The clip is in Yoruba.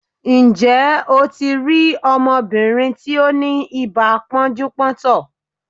Ǹjẹ́ o ti rí ọmọbìnrin tí ó ni ibà pọ́njú-pọ́ntọ̀?